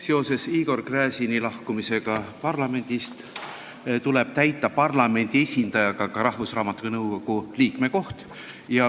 Seoses Igor Gräzini lahkumisega parlamendist tuleb parlamendi esindajaga täita Rahvusraamatukogu nõukogu liikme koht.